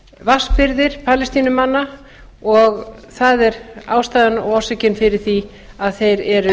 vatnsbirgðir palestínumanna og það er ástæðan og orsökin fyrir því að þeir